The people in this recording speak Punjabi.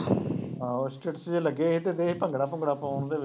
ਆਹੋ ਲੱਗੇ ਸੀ ਤੇ ਇਹ ਭੰਗੜਾ ਭੁੰਗੜਾ ਪਾਉਂਦੇ